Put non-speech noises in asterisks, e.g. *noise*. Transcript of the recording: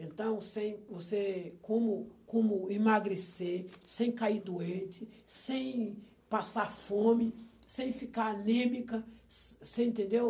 Então, sem você como como emagrecer sem cair doente, sem passar fome, sem ficar anêmica, *unintelligible* você entendeu?